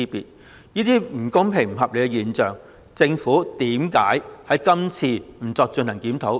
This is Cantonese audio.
對於這些不公平、不合理的現象，為何政府今次不進行檢討？